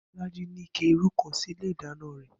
Bó̩lájí ní ike irú kan sínú ilé ìdáná rè̩